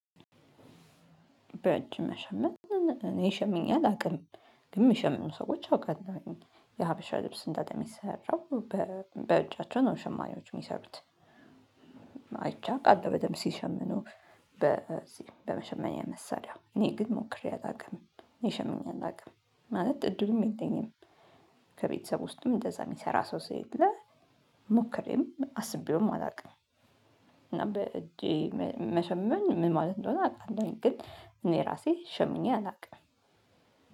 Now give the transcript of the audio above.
በእጅ መሸመን እኔ ይሸምኜ አላቅም ግን የሚሸምኑ ሰዎች አውቃለሁኝ የሀበሻ ልብስ እንዳለ የሚሰራው በእጃቸው ነው ሸማኔዎች የሚሰሩት። አይቼ አውቃለው ሲሸምኑ በዚህ በመሸመኛ መሳሪያ እኔ ግን ሞክሬ አላውቅም። እኔ ሸምኜ አላውቅም ማለት እድሉም የለኝም። ከቤተሰቡ ውስጥም እንደዛ የሚሰራ ሰው ስለሌለ። ሞክሬም አስቤውም አላውቅም። እና በእጄ መሸመን ምን ማለት እንደሆነ አቃለሁኝ ግን እኔ ራሴ ሸምኜ አላውቅም።